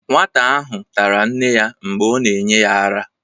nwata ahụ tara nne ya mgbe a na-enye ya ara